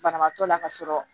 Banabaatɔ la ka sɔrɔ